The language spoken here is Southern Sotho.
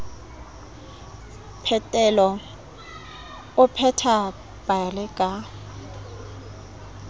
phetelo o pheta pale ka